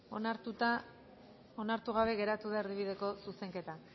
onartu gabe geratu da erdibideko zuzenketa